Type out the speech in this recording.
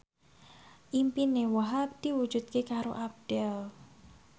impine Wahhab diwujudke karo Abdel